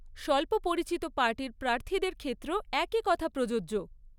স্বল্প পরিচিত পার্টির প্রার্থীদের ক্ষেত্রেও একই কথা প্রযোজ্য।